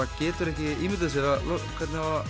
getur ekki ímyndað sér hvernig á að